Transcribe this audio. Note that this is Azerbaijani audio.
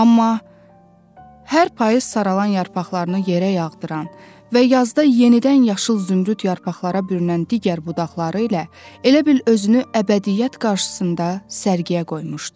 Amma hər payız saralan yarpaqlarını yerə yağdıran və yazda yenidən yaşıl zümrüd yarpaqlara bürünən digər budaqları ilə elə bil özünü əbədiiyyət qarşısında sərgiyə qoymuşdu.